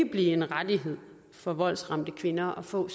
blive en rettighed for voldsramte kvinder at få